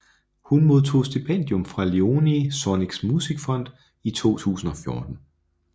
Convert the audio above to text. Hun modtog stipendium fra Léonie Sonnings Musikfond i 2014